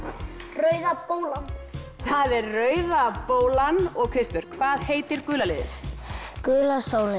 Rauða bólan það er Rauða bólan og Kristbjörg hvað heitir gula liðið gula sólin